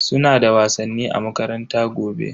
Suna da wasanni a makaranta gobe.